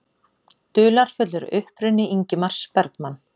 Dularfullur uppruni Ingmars Bergman